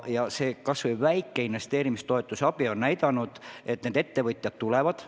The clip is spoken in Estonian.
Ja kas või väike abi investeerimistoetuse näol on näidanud, et ettevõtjad tulevad.